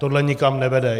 Tohle nikam nevede.